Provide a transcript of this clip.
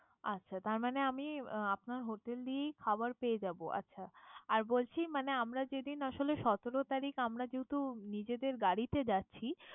আচ্ছা তার মানে আমি আপনার hotel এই খাবার পেয়ে যাবো, আচ্ছা। আর বলছি মানে আমরা যেদিন আসলে সতেরো তারিখ আমরা যেহেতু নিজেদের গাড়িতে যাচ্ছি